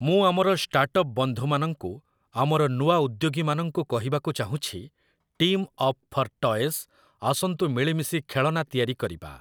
ମୁଁ ଆମର startup ବନ୍ଧୁମାନଙ୍କୁ, ଆମର ନୂଆ ଉଦ୍ୟୋଗୀମାନଙ୍କୁ, କହିବାକୁ ଚାହୁଁଛି "ଟିମ୍ ଅପ୍ ଫର୍ ଟଏଜ୍, ଆସନ୍ତୁ ମିଳିମିଶି ଖେଳଣା ତିଆରି କରିବା" ।